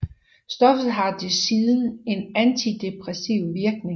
Stoffet har desuden en antidepressiv virkning